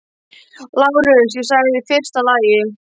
LÁRUS: Ég sagði: í fyrsta lagi.